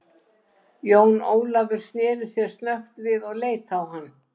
Jón Ólafur sneri sér snöggt við og leit á hann.